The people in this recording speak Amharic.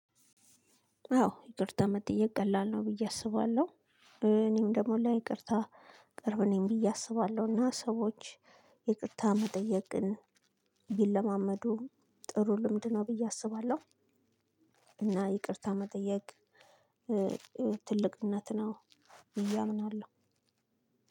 አዎ ይቅርታ መጠየቅ ቀላል ነው ብዬ አስባለሁ። እኔም ደግሞ ለይቅርታ ቅርብ ነኝ ብዬ አስባለሁ። እና ሰዎች ይቅርታ መጠየቅን ቢለማመዱ ጥሩ ልምድ ነው ብዬ አስባለሁ። እና ይቅርታ መጠየቅ ትልቅነት ነው ብዬ አምናለሁ።